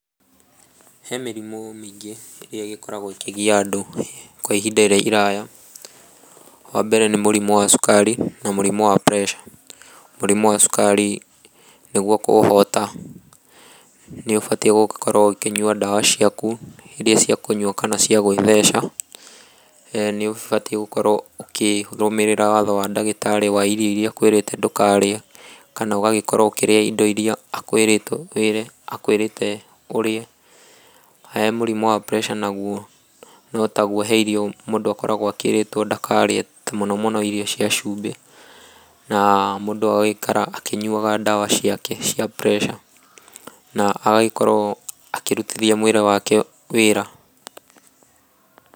He mĩrimũ mĩingĩ ĩrĩa ĩgĩkoragwo ĩkĩgia andũ kwa ihinda iraya wa mbere nĩ mũrimũ wa cukari na mũrimũ wa pressure mũrimũ wa cukari nĩguo kũũhota nĩ ũbatie gũkorwo ũkĩnyua ndawa ciaku iria cia kũnyua kana cia gwĩtheca, nĩ ũgabitiĩ gũkorwo ũkĩrũmĩrĩra watho wa ndagĩtarĩ wa irio iria akwĩrĩte ndũkarĩe kana ũgagĩkorwo ũkĩria indo iria akwĩrĩte ũrĩe he mũrimũ wa pressure naguo no taguo he irio mũndũ akoragwo akĩrĩtwo ndakarĩe ta mũno mũno irio cia cumbĩ na mũndũ agagĩikara akĩnyuaga ndawa ciake cia pressure na agagĩkorwo akĩrutithia mwĩrĩ wake wĩra.